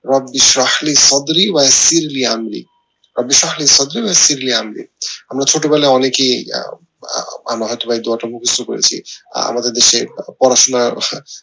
আমরা ছোট বেলায় অনেকেই দোয়াটা মুখস্ত করেছি আমাদের দেশে পড়াশোনা